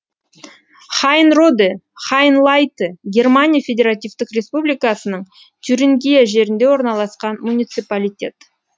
хайнроде хайнлайте германия федеративтік республикасының тюрингия жерінде орналасқан муниципалитет